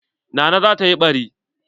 Nana zata yi ɓari.